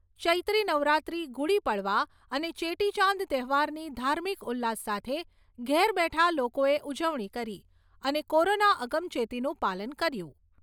ચૈત્રી નવરાત્રિ, ગુડી પડવા અને ચેટીચાંદ તહેવારની ધાર્મિક ઉલ્લાસ સાથે ઘેર બેઠા લોકોએ ઉજવણી કરી અને કોરોના અગમચેતીનું પાલન કર્યું.